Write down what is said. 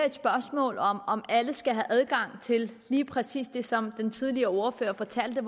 et spørgsmål om om at alle skal have adgang til lige præcis det som den tidligere ordfører fortalte